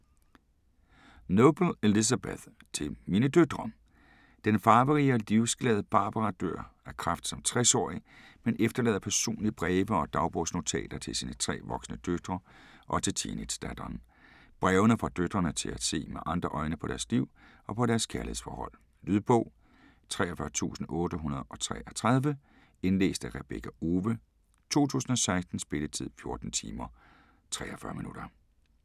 Noble, Elizabeth: Til mine døtre Den farverige og livsglade Barbara dør af kræft som 60-årig, men efterlader personlige breve og dagbogsnotater til sine tre voksne døtre og til teenagedatteren. Brevene får døtrene til at se med andre øjne på deres liv og på deres kærlighedsforhold. Lydbog 43833 Indlæst af Rebekka Owe, 2016. Spilletid: 14 timer, 43 minutter.